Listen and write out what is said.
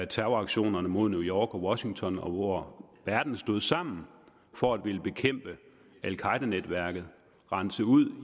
terroraktionerne mod new york og washington hvor verden stod sammen for at ville bekæmpe al qaeda netværket rense ud